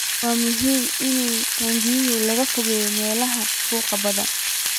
Waa muhiim in taangiyada laga fogeeyo meelaha buuqa badan.